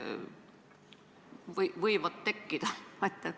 Kas see võib tekkida?